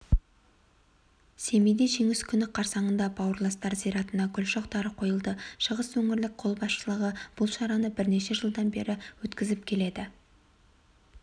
семейде жеңіс күні қарсаңында бауырластар зиратына гүл шоқтары қойылды шығыс өңірлік қолбасшылығы бұл шараны бірнеше жылдан бері өткізіп келеді